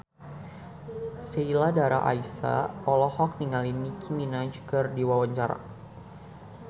Sheila Dara Aisha olohok ningali Nicky Minaj keur diwawancara